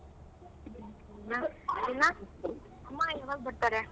ಅಮ್ಮ ಯಾವಾಗ್ ಬರ್ತಾರೇ?